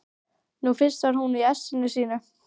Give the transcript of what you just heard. Nú fyrst var hún í essinu sínu.